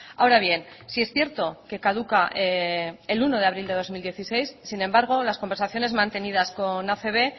ahora bien sí es cierto que caduca el uno de abril de dos mil dieciséis sin embargo las conversaciones mantenidas con acb